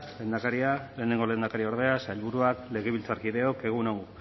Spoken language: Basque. lehendakaria lehenengo lehendakariordea sailburuak legebiltzarkideok egun on